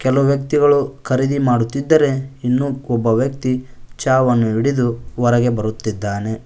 ಹಲವು ವ್ಯಕ್ತಿಗಳು ಖರೀದಿ ಮಾಡುತ್ತಿದ್ದರೆ ಇನ್ನೂ ಒಬ್ಬ ವ್ಯಕ್ತಿ ಛಾವನ್ನು ಹಿಡಿದು ಹೊರಗೆ ಬರುತ್ತಿದ್ದಾನೆ.